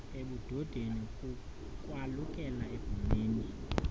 ebudodeni kukwalukela ebhumeni